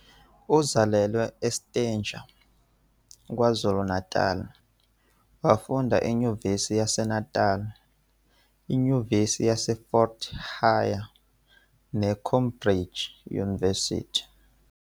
Uzalelwe eStanger, KwaZulu-Natal, wafunda eNyuvesi yaseNatali, iNyuvesi yaseFort Hare neCambridge University.